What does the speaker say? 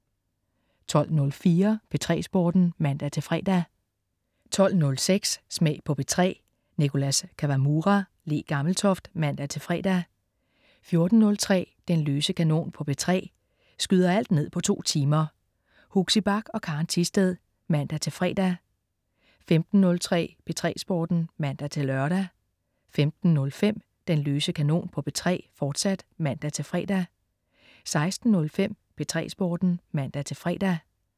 12.04 P3 Sporten (man-fre) 12.06 Smag på P3. Nicholas Kawamura/Le Gammeltoft (man-fre) 14.03 Den løse kanon på P3. Skyder alt ned på to timer. Huxi Bach og Karen Thisted (man-fre) 15.03 P3 Sporten (man-lør) 15.05 Den løse kanon på P3, fortsat (man-fre) 16.05 P3 Sporten (man-fre)